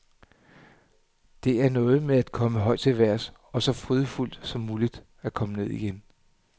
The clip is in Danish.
Det er noget med at komme højt til vejrs og så frydefuldt som muligt at komme ned igen.